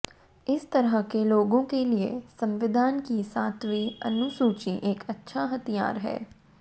इस तरह के लोगों के लिए संविधान की सातवीं अनुसूची एक अच्छा हथियार है